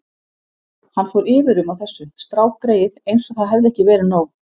Hann fór yfir um á þessu, strákgreyið, eins og það hefði ekki verið nóg.